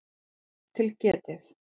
Rangt til getið